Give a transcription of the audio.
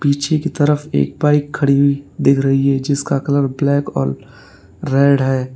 पीछे की तरफ एक बाइक खड़ी दिख रही है जिसका कलर ब्लैक और रेड है।